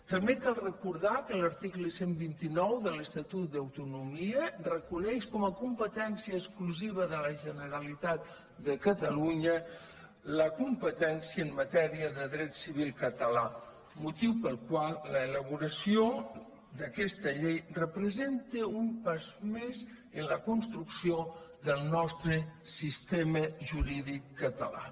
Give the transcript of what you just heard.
també cal recordar que l’article cent i vint nou de l’estatut d’autonomia reconeix com a competència exclusiva de la generalitat de catalunya la competència en matèria de dret civil català motiu pel qual l’elaboració d’aquesta llei representa un pas més en la construcció del nostre sistema jurídic català